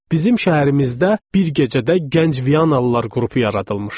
Bizim şəhərimizdə bir gecədə gənc Vianalılar qrupu yaradılmışdı.